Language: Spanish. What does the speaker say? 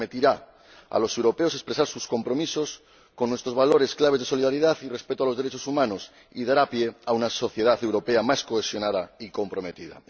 Permitirá a los europeos expresar sus compromisos con nuestros valores clave de solidaridad y respeto de los derechos humanos, y dará pie a una sociedad europea más cohesionada y comprometida.